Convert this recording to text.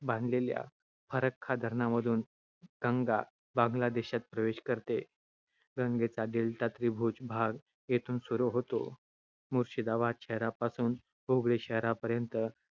बांधलेल्या फरक्का धरणामधून गंगा बांगला देशात प्रवेश करते. गंगेचा डेल्टा-त्रिभुज भाग येथून सुरू होतो. मुर्शिदाबाद शहरापासून हुगळी शहरापर्यंत